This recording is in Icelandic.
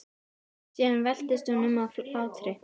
Síðan veltist hún um af hlátri.